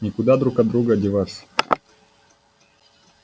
никуда друг от друга деваться